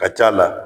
Ka c'a la